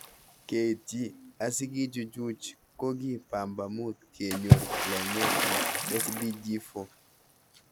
Keitchi asikichuchuch ko ki pambamut kenyor longet ing SDG4.